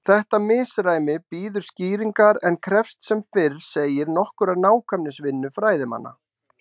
Þetta misræmi bíður skýringar en krefst sem fyrr segir nokkurrar nákvæmnisvinnu fræðimanna.